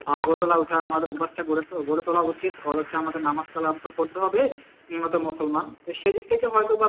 আহ ভোর বেলায় উঠা আমাদের অভ্যাসটা গড়ে তোলা উচিত যা আমাদের নামাজ তো আমাদের পড়তে হবে আমরা তো মুসলমান সেইদিক থেকে হয় তো বা